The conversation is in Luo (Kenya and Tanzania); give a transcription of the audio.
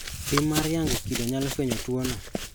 Pim mar yango kido nyalo fwenyo tuono.